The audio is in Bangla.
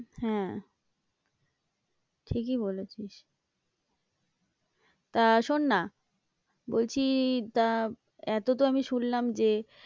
হ্যাঁ ঠিকই বলেছিস তা শোন না বলছি এতো তো আমি শুনলাম যে